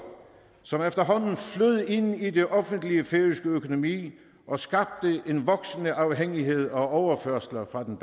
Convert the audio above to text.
som efterhånden flød ind i den offentlige færøske økonomi og skabte en voksende afhængighed af overførsler fra den